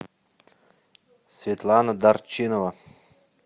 светлана дарчинова